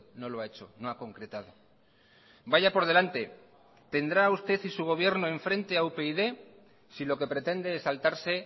no lo ha hecho no ha concretado vaya por delante tendrá usted y su gobierno en frente a upyd si lo que pretende es saltarse